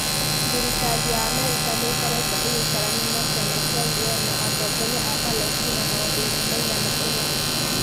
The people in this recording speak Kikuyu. Thirikari ya Amerika nĩ ĩkoretwo ĩgĩkararania na kĩama kĩa UN, na atongoria a Palesitina maũndũinĩ maigana ũna.